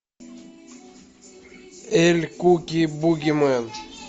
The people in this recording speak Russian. эль кукуй бугимен